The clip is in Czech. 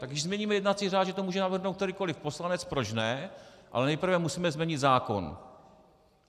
Tak když změníme jednací řád, že to může navrhnout kterýkoliv poslanec, proč ne, ale nejprve musíme změnit zákon.